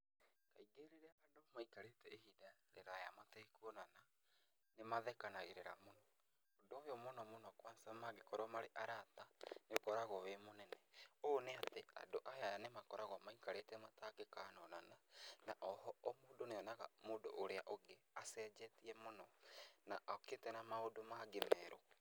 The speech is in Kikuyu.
Kaingĩ rĩrĩa andũ maikarĩte ihinda rĩraya matekuonana, nĩ mathekanagĩrĩra mũno, ũndũ ũyũ mũno mũno kwanza mangĩkorwo marĩ arata, nĩ ũkoragwo wĩ mũnene. Ũũ nĩ atĩ, andũ aya nĩ makoragwo maikarĩte matangĩkonana na o ho o mũndũ nĩ onaga mũndũ ũrĩa ũngĩ acenjetie mũno na okĩte na maũndũ mangĩ merũ.